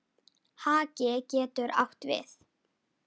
Haki getur átt við